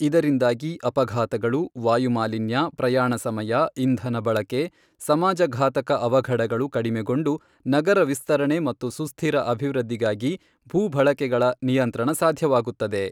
ಇದರಿಂದಾಗಿ ಅಪಘಾತಗಳು, ವಾಯುಮಾಲಿನ್ಯ, ಪ್ರಯಾಣ ಸಮಯ, ಇಂಧನ ಬಳಕೆ, ಸಮಾಜಘಾತಕ ಅವಘಡಗಳು ಕಡೆಮೆಗೊಂಡು ನಗರ ವಿಸ್ತರಣೆ ಮತ್ತು ಸುಸ್ಥಿರ ಅಭಿವೃದ್ಧಿಗಾಗಿ ಭೂ ಬಳಕೆಗಳ ನಿಯಂತ್ರಣ ಸಾಧ್ಯವಾಗುತ್ತದೆ.